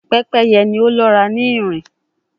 Pepeye ni o lọra ni nrin